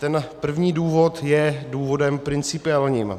Ten první důvod je důvod principiální.